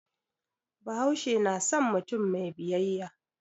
Bahaushe na san mutum mai biyayya.